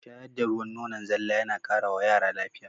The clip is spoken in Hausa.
Shayar da ruwan nonon zalla yana ƙara wa yara lafiya